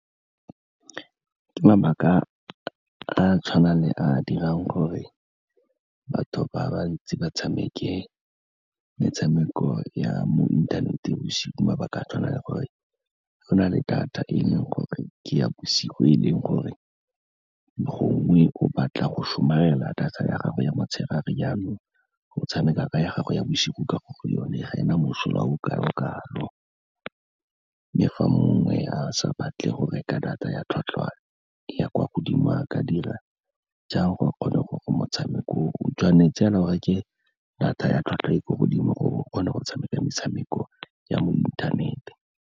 Ke mabaka a tshwana le a dirang gore batho ba bantsi ba tshameke metshameko ya mo inthaneteng bosigo, ke mabake a tshwana le gore go na le data e leng gore ke ya bosigo, e leng gore gongwe o batla go somarela data ya gago ya motshegare jaanong o tshameka ka ya gago ya bosigo ka gore yone ga ena mosola o kalo-kalo. Mme fa mongwe a sa batle go reka data ya tlhwatlhwa ya kwa godimo a ka dira jang gore a kgone gore motshameko o, o tshwanetse o reke data ya tlhwatlhwa e ko godimo, gore o kgone go tshameka metshameko ya mo inthanete.